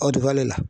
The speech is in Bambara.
Aw de b'ale la